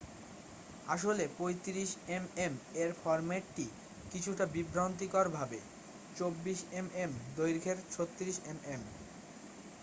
আসলে 35 এমএম এর ফরম্যাটটি কিছুটা বিভ্রান্তিকরভাবে ,24এমএম দৈঘ্যের 36এম এম।